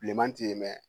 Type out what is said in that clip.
Bilenman ti dɛmɛn